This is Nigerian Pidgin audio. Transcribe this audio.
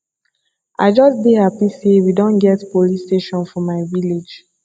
i just dey happy say we don get police station for my village